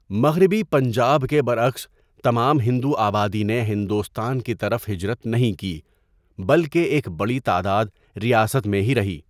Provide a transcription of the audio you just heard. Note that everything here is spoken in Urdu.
مغربی پنجاب کے برعکس، تمام ہندو آبادی نے ہندوستان کی طرف ہجرت نہیں کی بلکہ ایک بڑی تعداد ریاست میں ہی رہی۔